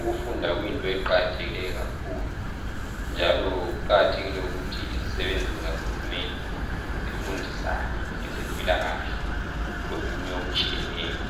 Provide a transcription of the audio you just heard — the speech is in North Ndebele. Ukufunda kuyinto eqakathekileyo kakhulu njalo kuqakathekile ukuthi izisebenzi zikahulumende zifundisane ngezempilakahle lokunye okutshiyeneyo.